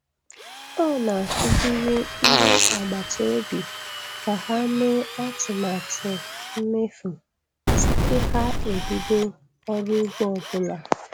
Ọ na-akụziri ndị agbata obi ka ha mee atụmatụ mmefu tupu ha ebido ọrụ ugbo ọ bụla.